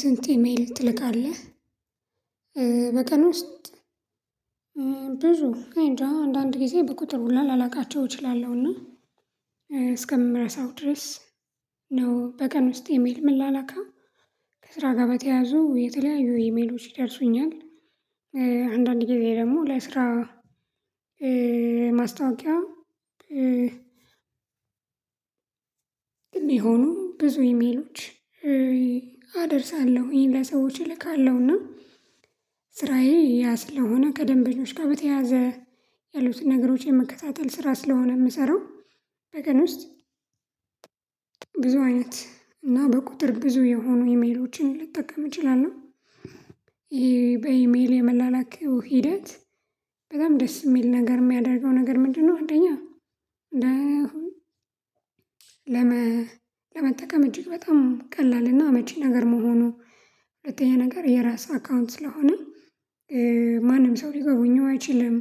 ስንት ኢሜል ትልካለህ በቀን ውስጥ? አይንጃ አንዳንድ ጊዜ በቁጥር ሁላ ላላቃቸው እችላለሁና እስከምረሳው ድረስ ነው በቀን ውስጥ ኢሜል ምላላከው ከስራ ጋር በተያያዙ የተለያዩ ኢሜሎች ይደርሱኛል። አንዳንዴ ግዜ ደግሞ ለስራ ማስታወቂያ ማስታውቂያው የሚሆኑ ብዙ ኢሜሎች አደርሳለሁኝ ለሰዎች እልካለሁና ስራዬ ያ ስለሆነ ከደንበኞች ጋር በተያያዘ ያሉትን ነገሮች የመከታተል ስራ ስለሆነ የምሰራው። በቀን ውስጥ ብዙ አይነት እና በቁጥር ብዙ የሆኑ ኢሜሎችን ልጠቀም እንችላለው። ይሄ በኢሜል የመላላክ ሂደት በጣም ደስ የሚል ነገር የሚያደርገው ነገር ምንድነው? አንደኛ ነው። ለመጠቀም እጅግ በጣም ቀላል እና አመቺ ነገር መሆኑ። ሁለተኛ ነገር የራስ አካውንት ስለሆነ ማንም ሰው ሊጎበኘው አይችልም።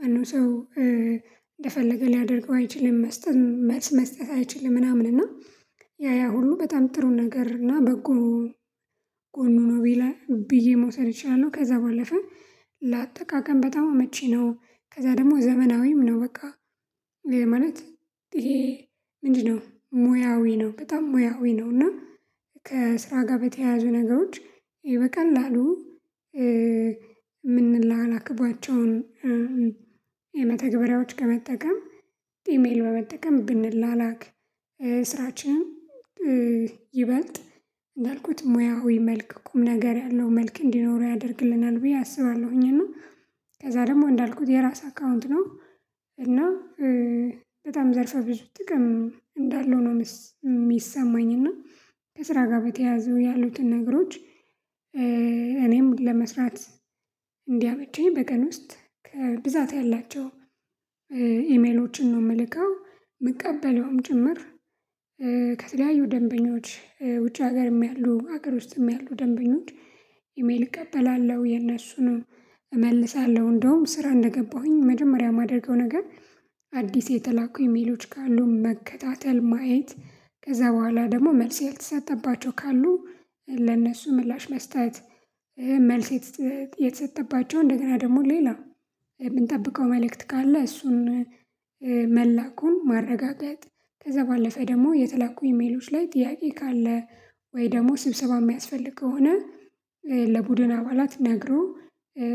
ማንም ሰው እንደፈለገ ሊያደርገው አይችልም። መስጠት መልስ መስጠት አይችልም ምናምን እና ያ ያ ሁሉ በጣም ጥሩ ነገር እና በጎ ጎኑ ነው። ብዬ መውሰድ እችላሉው ከዛ ባለፈ ለአጠቃቀም በጣም አመቺ ነው። ከዛ ደግሞ ዘመናዊም ነው። በቃ ማለት ምንድነው ሙያዊ ነው። በጣም ሙያዊ ነው እና ከስራ ጋር በተያያዙ ነገሮች በቀላሉ አሉ የምንላክባቸውን የመተግበሪያዎች ከመጠቀም ኢሜል በመጠቀም ብንላላክ ስራችን ይበልጥ እንዳልኩት ሙያዊ መልክ ቁም ነገር ያለው መልክ እንዲኖረው ያደርግልናል ብዬ አስባለሁኝ። እና ከዛ ደግሞ እንዳልኩት የራስ አካውንት ነው። እና በጣም ዘርፋ ብዙ ጥቅም እንዳለው ነው የሚሰማኝ። እና ከስራ ጋር በተያያዘው ያሉትን ነገሮች እኔም ለመስራት እንዲያበጁኝ በቀን ውስጥ ከብዛት ያላቸው ኢሜሎችን ነው የምልከው። የምቀበለውም ጭምር ከተለያዩ ደንበኞች ውጭ ሀገርም ያሉ ሀገር ውስጥም ያሉ ደንበኞች ኢሜል እቀበላለሁ የነሱንም እመልሳለሁ። እንደውም ስራ እንደገባሁኝ መጀመሪያ የማደርገው ነገር አዲስ የተላኩ ኢሜሎች ካሉ መከታተል ማየት ከዛ በኋላ ደግሞ መልስ ያልተሰጠባቸው ካሉ ለእነሱ ምላሽ መስጠት። መልስ የተሰጠባቸው እንደገና ደግሞ ሌላ የምንጠብቀው መልእክት ካለ እሱን መላኩን ማረጋገጥ። ከዛ ባለፈ ደግሞ የተለቁ ኢሜሎች ላይ ጥያቄ ካለ ወይ ደግሞ ስብሰባ የሚያስፈልግ ከሆነ ለቡድን አባላት ነግሮ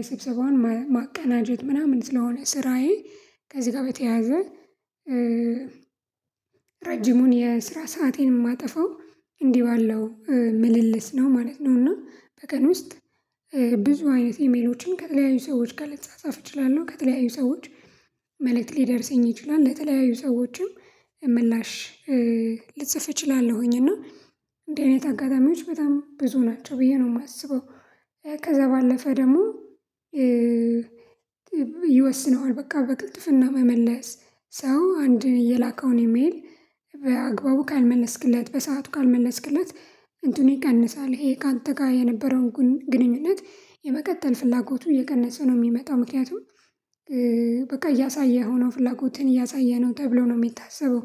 ስብሰባውን ማቀናጀት ምናምን ስለሆነ ስራዬ ከዚህ ጋር በተያያዘ። ረጅሙን የስራ ሰአቴን የማጠፋው እንዲህ ባለው ምልልስ ነው ማለት ነው። እና በቀን ውስጥ ብዙ አይነት ኢሜሎችን ከተለያዩ ሰዎች ጋር ልጻጻፍ እችላለሁ። ከተለያዩ ሰዎች መልእክት ሊደርሰኝ ይችላል ለተለያዩ ሰዎችም ምላሽ ልጽፍ እችላለሁኝ እና እንዲህ አይነት አጋጣሚዎች በጣም ብዙ ናቸው ብዬ ነው የማስበው። ከዛ ባለፈ ደግሞ ይወስነዋል በቃ በቅልጥፍና በመመለስ ሰው አንድ የላከውን የሚል በአግባቡ ካልመለስክለት በሰአቱ ካልመለስክለት እንትኑ ይቀንሳል ይሄ ካንተ ጋር የነበረውን ግንኙነት የመቀጠል ፍላጎቱ እየቀነሰ ነው የሚመጣው። ምክንያቱም በቃ እያሳየህው ነው ፍላጎትህን እያሳየህ ነው ተብሎ ነው የሚታሰበው።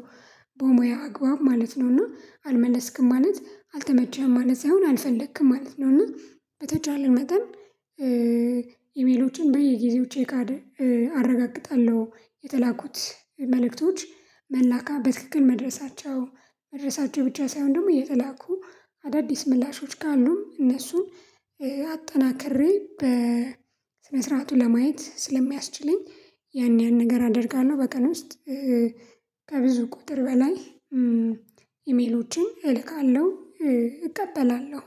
በሙያ አግባብ ማለት ነው ነውና አልመለስክም ማለት አልተመቸህም ማለት ሳይሆን አልፈለክም ማለት ነውና። በተቻለ መጠን ኢሜሎችን በየጊዜው ቼክ አረጋግጣለሁ የተላኩት መልክቶች መላካ በትክክል መድረሳቸው መድረሳቸው ብቻ ሳይሆን ደግሞ የተላኩ አዳዲስ ምላሾች ካሉም እነሱን አጠናክሬ በስነ ስርዓቱ ለማየት ስለሚያስችለኝ ያን ያን ነገር አድርጋለሁ። በቀን ውስጥ ከብዙ ቁጥር በላይ ኢሜሎችን እልካለሁ እቀበላለሁ።